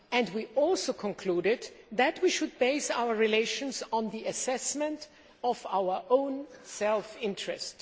We also concluded that we should base our relations on the assessment of our own self interest.